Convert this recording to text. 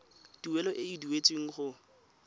tuelo e e duetsweng go